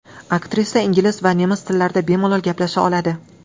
Aktrisa ingliz va nemis tillarida bemalol gaplasha oladi.